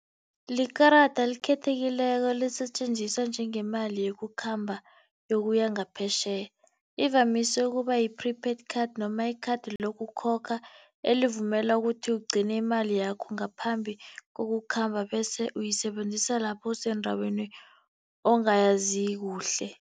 Likarada elikhethekileko lisetjenziswa njengemali yokukhamba yokuya ngaphetjheya. Ivamise ukuba yi-prepaid card noma i-card lokukhokha elivumela ukuthi ugcine imali yakho ngaphambi kokukhamba bese uyisebenzisa lapho usendaweni ongayazi kuhle.